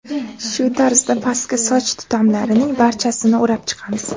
Shu tarzda pastki soch tutamlarining barchasini o‘rab chiqamiz.